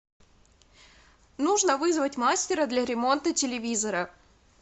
нужно вызвать мастера для ремонта телевизора